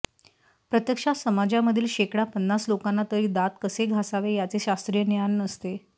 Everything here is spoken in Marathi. प्रत्यक्षात समाजामधील शेकडा पन्नास लोकांना तरी दात कसे घासावे याचे शास्त्रीय ज्ञान नसते